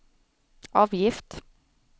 avgift